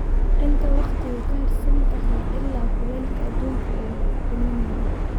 inta wakhtigu ka hadhsan tahay ilaa kulaylka aduunka uu dhimanayo